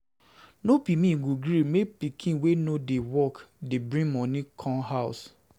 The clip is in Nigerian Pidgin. No be me go gree make pikin wey no wey no dey work dey bring moni come house.